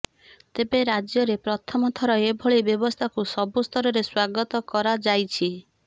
ତେବେ ରାଜ୍ୟରେ ପ୍ରଥମଥର ଏଭଳି ବ୍ୟବସ୍ଥାକୁ ସବୁ ସ୍ତରରେ ସ୍ୱାଗତ କରାଯାଇଛି